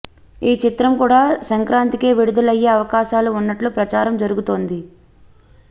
ఈ చిత్రం కూడా సంక్రాంతికే విడుదలయ్యే అవకాశాలు ఉన్నట్లు ప్రచారం జరుగుతోంది